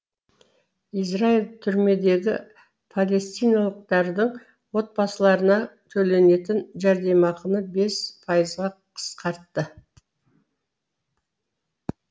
израиль түрмедегі палестиналықтардың отбасыларына төленетін жәрдемақыны бес пайызға қысқартты